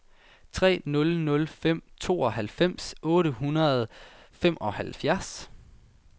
tre nul nul fem otteoghalvfems otte hundrede og femoghalvfjerds